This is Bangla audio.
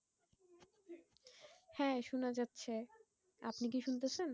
হ্যাঁ শোনা যাচ্ছে, আপনি কি শুনতেছেন?